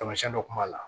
Tamasiyɛn dɔ kun b'a la